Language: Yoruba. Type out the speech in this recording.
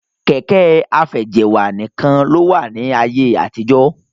Kẹ̀kẹ́ afẹjẹ̀wà nìkan ló wà ní ayé àtijọ́.